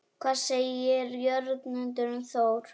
Hvað segir Jörundur um Þór?